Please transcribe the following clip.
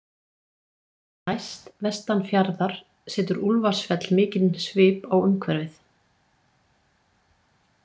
Næst, vestan fjarðar, setur Úlfarsfell mikinn svip á umhverfið.